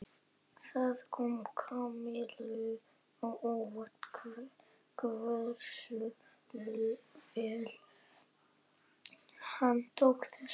Það kom Kamillu á óvart hversu vel hann tók þessu.